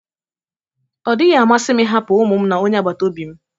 Ọ dịghị amasị m ịhapụ ụmụ m na onye agbata obi m